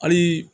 Hali